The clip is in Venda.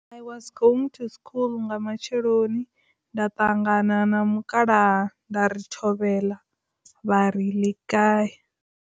I was going to school nga matsheloni nda ṱangana na mukalaha nda ri thobela vha ri lekae.